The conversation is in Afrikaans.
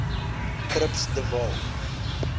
trips de waal